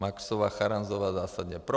Maxová, Charanzová zásadně pro.